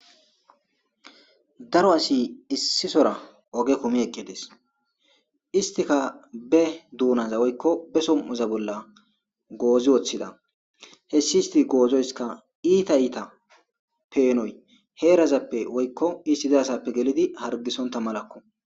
Daro asi issi soohora oge kumi eqidess istikka be dunazza bolla woyikko be som'oza bolla goozi woththida hesi isti gozoyisikka iita iita peenoy woyikko isti dizasappe gelidi hargisontta malakko